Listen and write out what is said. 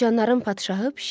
Siçanların padşahı pişik.